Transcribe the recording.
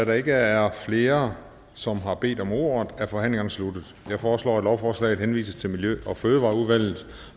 der ikke er flere som har bedt om ordet er forhandlingerne sluttet jeg foreslår at lovforslaget henvises til miljø og fødevareudvalget